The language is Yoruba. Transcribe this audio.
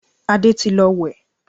Adé ti lọ wẹ̀